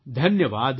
ધન્યવાદ